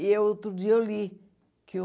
E outro dia eu li que o...